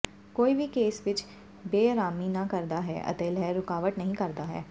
ਕੋਈ ਵੀ ਕੇਸ ਵਿੱਚ ਬੇਅਰਾਮੀ ਨਾ ਕਰਦਾ ਹੈ ਅਤੇ ਲਹਿਰ ਰੁਕਾਵਟ ਨਹੀ ਕਰਦਾ ਹੈ